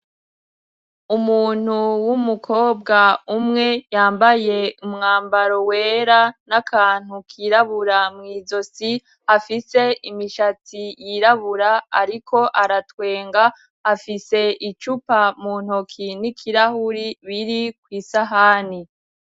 Umuntu w'umukobwa umwe yambaye umwambaro wera n'akantu kirabura mw'izosi afise imishatsi y'irabura ariko aratwenga afise icupa mu ntoki n'ikirahuri biri kw'isahani.